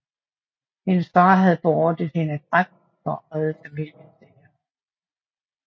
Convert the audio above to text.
Hendes far havde beordret hende dræbt for at redde familiens ære